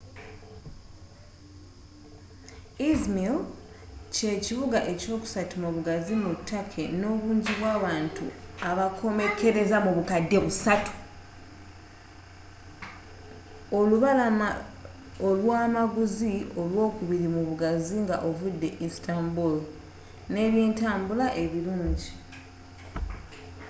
izmir kye kibuga ekyokusatu mubugazi mu turkey nno obunji bwabantu abakomekeleza mu bukadde busatu olubalama olwa amaguzi olwokubili mubugazi nga ovudde istanbul nne ebyentabula ebilungi